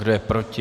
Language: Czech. Kdo je proti?